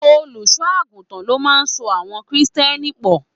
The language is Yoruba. Olùṣọ àgùntàn ló máa n so àwọn kírísítẹ́nì pọ.